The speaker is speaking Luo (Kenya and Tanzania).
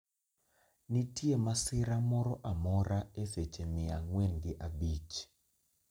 nitie masira moro amora e seche mia ang'wen gi abich